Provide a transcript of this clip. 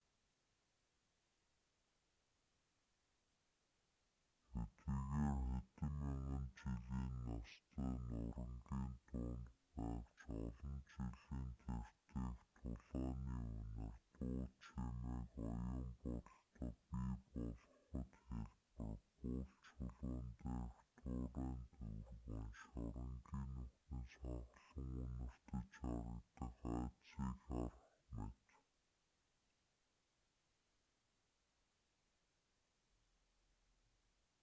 хэдийгээр хэдэн мянган жилийн настай нурингын дунд байвч олон жилийн тэртээх тулааны үнэр дуу чимээг оюун бодолдоо бий болгоход хялбар бул чулуун дээрх туурайн төвөргөөн шоронгийн нүхнээс ханхлан үнэртэж харагдах айдасыг харах мэт